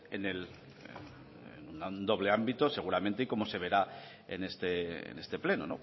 en el doble ámbito seguramente y como se verá en este pleno